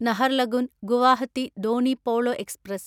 Naharlagun Guwahati Donyi Polo express